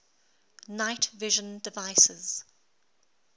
night vision devices